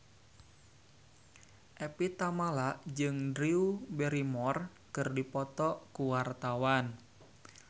Evie Tamala jeung Drew Barrymore keur dipoto ku wartawan